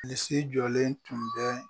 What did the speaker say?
Bilisi jɔlen tun bɛ